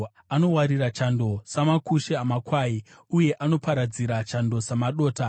Anowarira chando samakushe amakwai, uye anoparadzira chando samadota.